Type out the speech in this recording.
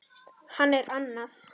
Hann er annað